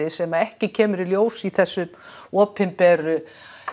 sem ekki kemur ljós í þessum opinberu